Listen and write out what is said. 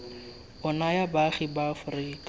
o naya baagi ba aforika